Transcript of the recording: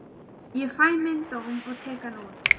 Ég fæ minn dóm og tek hann út.